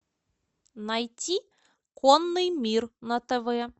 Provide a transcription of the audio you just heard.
найти конный мир на тв